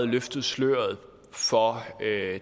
løftet sløret for